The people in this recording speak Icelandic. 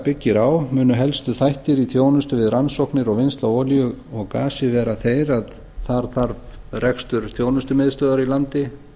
byggir á munu helstu þættir í þjónustu við rannsóknir og vinnslu á olíu og gasi vera þeir að það þarf rekstur þjónustumiðstöðvar í landi